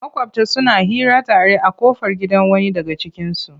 Maƙwabta suna hira tare a ƙofar gidan wani daga cikinsu.